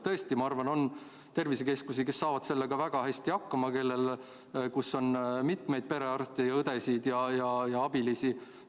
Tõesti, ma arvan, et on tervisekeskusi, kes saavad vaktsineerimisega väga hästi hakkama, seal on mitmeid perearste, õdesid ja abilisi.